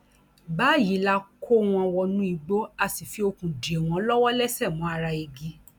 báyìí la kó wọn wọnú igbó a sì fi okùn dè wọn lọwọlẹsẹ mọ ara igi